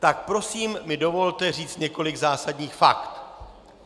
Tak prosím mi dovolte říci několik zásadních fakt.